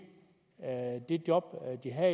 sit job